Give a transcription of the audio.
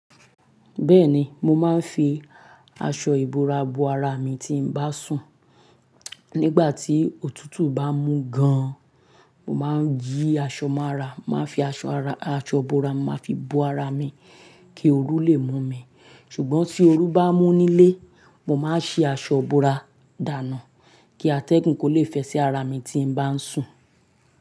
Bẹ́ẹ̀ni, mo máa ń fi aṣọ ìbora bo ara mi tí n bá sùn. Nígbà tí òtútù bá mú gan-an, mo máa ń fi aṣọ bora kí ooru lè mú mi. Ṣùgbọ́n tí ooru bá mú nílé, mo máa ń ṣí aṣọ bora dànù kí atẹ́gùn lè fẹ́ sí ara mi tí mo bá sùn.